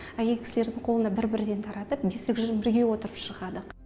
әйел кісілердің қолына бір бірден таратып бесік жырын бірге отырып шырқадық